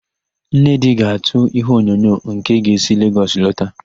Nnedị ga-àtụ́ íhéonyonyo nke ga-esi Legọs alọta.